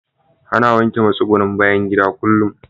Ana wanke matsugunnin bayan gida kullum.